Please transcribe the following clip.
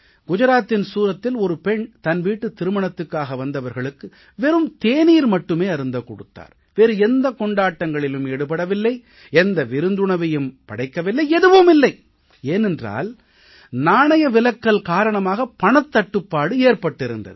குஜராத்தின் சூரத்தில் ஒரு பெண் தன் வீட்டு திருமணத்துக்காக வந்தவர்களுக்கு வெறும் தேநீர் மட்டுமே அருந்தக் கொடுத்தார் வேறு எந்த கொண்டாட்டங்களிலும் ஈடுபடவில்லை எந்த விருந்துணவையும் படைக்கவில்லை எதுவும் இல்லை ஏனென்றால் நாணயவிலக்கல் காரணமாக பணத்தட்டுப்பாடு ஏற்பட்டிருந்தது